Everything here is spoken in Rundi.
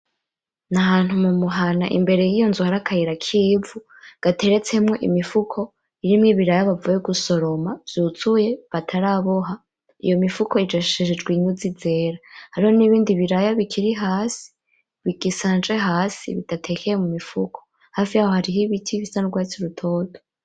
Ni ahantu mumuhana imbere yiyo nzu hari akayira k'ivu, gateretsemwo imifuko irimwo ibiraya bavuye gusoroma vyuzuye bataraboha , iyo mifuko iyijishishije inyuzi zera , hariho n'ibindi biraya bikiri hasi , bigisanje hasi, biteye mumifuko, hafi yaho hari ibiti bisa n'urwatsi rutoto.